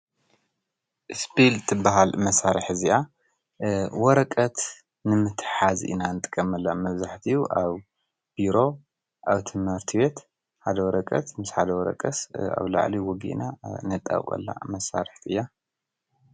እስጲል ትበሃል መሣርሕ እዚኣ ወረቀት ንምቲ ኃዚ ኢና ንጥቀመላ መዛሕቲዩ ኣብ ብሮ ኣብተመርትቤት ሓደ ወረቀት ምስ ሓደ ወረቀስ ኣብ ላዓሊ ወጌና ነጠወላ መሣርሕቲ እያ::